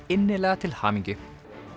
innilega til hamingju